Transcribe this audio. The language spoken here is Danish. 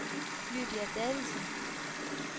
Lydia Davidsen